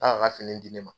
A y'a ka fini di ne ma